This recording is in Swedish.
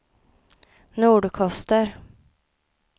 Nordkoster